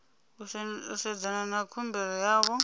u sedzana na khumbelo yavho